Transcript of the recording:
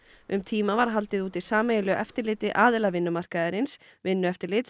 um tíma var haldið úti sameiginlegu eftirliti aðila vinnumarkaðarins vinnueftirlits